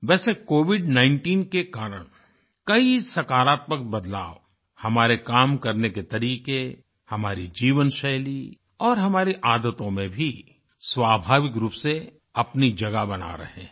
वैसे covid19 के कारण कई सकारात्मक बदलाव हमारे काम करने के तरीके हमारी जीवनशैली और हमारी आदतों में भी स्वाभाविक रूप से अपनी जगह बना रहे हैं